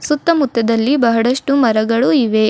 ಸುತ್ತ ಮುತ್ತದಲ್ಲಿ ಬಹಳಷ್ಟು ಮರಗಳು ಇವೆ.